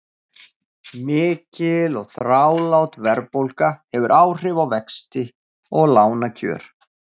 Mikil og þrálát verðbólga hefur áhrif á vexti og lánakjör.